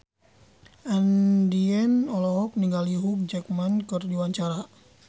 Andien olohok ningali Hugh Jackman keur diwawancara